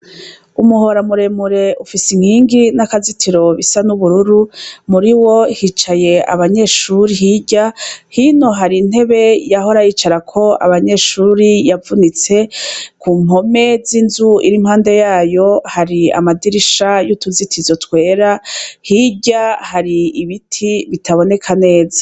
Umuhora muremure ufise inkingi n'akazitiro bisa n'ubururu muriwo hicaye abanyeshuri hirya hino hari intebe yahora yicarako abanyeshuri yavunitse kumpome z'inzu iri irihunde yayo hari amadirisha yutuzitizo twera hirya hari ibiti bitaboneka neza.